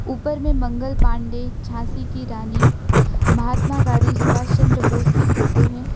ऊपर में मंगल पांडे झांसी की रानी महात्मा गांधी सुभाष चंद्र बोस की फोटो है।